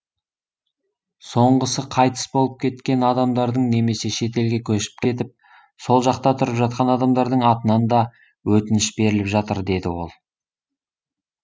соңғысы қайтыс болып кеткен адамдардың немесе шетелге көшіп кетіп сол жақта тұрып жатқан адамдардың атынан да өтініш беріліп жатыр деді ол